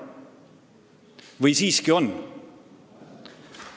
Või siiski?